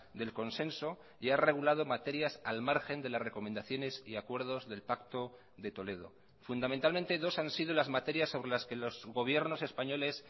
del consenso y ha regulado materias al margen de las recomendaciones y acuerdos del pacto de toledo fundamentalmente dos han sido las materias sobre las que los gobiernos españoles